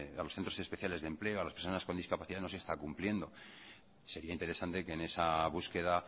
a los centros especiales de empleo a las personas con discapacidad no se está cumpliendo sería interesante que en esa búsqueda